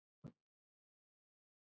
Þá er ballið búið.